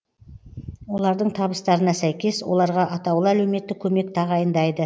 олардың табыстарына сәйкес оларға атаулы әлеуметтік көмек тағайындайды